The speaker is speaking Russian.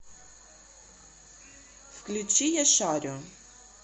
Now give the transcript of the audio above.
включи яшарю